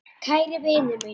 Kæri vinur minn.